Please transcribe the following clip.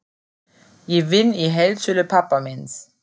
Ég vinn í heildsölu pabba míns.